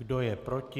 Kdo je proti?